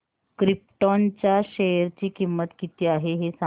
krypton च्या share ची किंमत किती आहे हे सांगा